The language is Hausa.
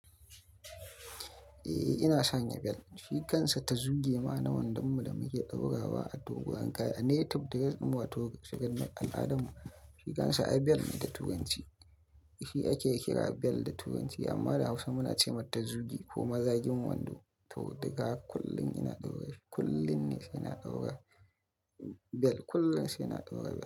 Eh, ina sanya bel. Shikansa tazugema naman dan mu da muke ɗaura wa a dogu. An kaya native daga ɗumatawun cikin al'adun mu. Shikansa ai bel ne da turanci. Shi ake kira bel da turanci amma da Hausa muna ce mata tazuge ko mazagin wando. To daga kullum ina ɗaura shi, kullum ne shi ina ɗaura bel, kullum shi ina ɗaura.